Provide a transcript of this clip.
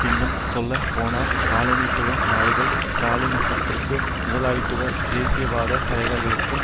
இன்னும் சொல்ல போனால் காலனித்துவ நாடுகளில் ஸ்ராலினிசத்திற்கும் முதலாளித்துவ தேசியவாத தலைவர்களுக்கும்